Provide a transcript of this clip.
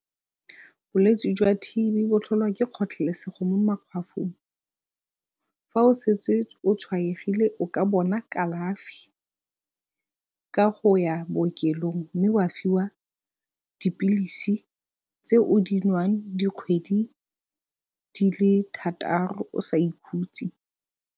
Bolwetsi jwa T_B bo tlholwa ke kgotlhelesego mo makhwafong. Fa o setse o tshwaegile o ka bona kalafi ka go ya bookelong mme wa fiwa dipilisi tse o di nwang dikgwedi di le thataro o sa ikhutse.